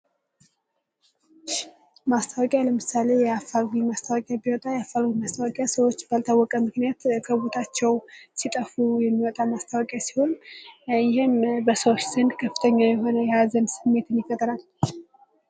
ማስታወቂያ ለምሳሌ የአፋልጉኝ ማስታወቂያ ቢወጣ፤ የአፋልጉኝ ማስታወቂያ ሰዎች ባልታወቀ ምክንያት ከቦታቸው ሲጠፉ የሚወጣ ማስታወቂያ ሲሆን፤ ይህም በሰዎች ዘንድ ከፍተኛ የሆነ የሀዘን ስሜትን ይፈጥራል።